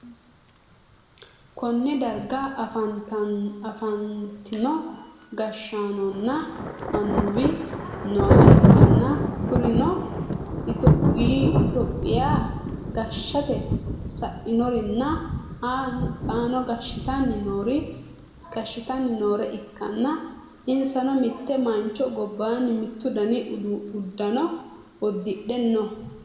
konne darga afantino gashshaanonna annuwi nooha ikkanna, kurino itiyoophiya gashshite sa'norinna xaanno gashshitanni noore ikkanna, insano mitte mancho gobbannai mittu dani uddano uddidhe no.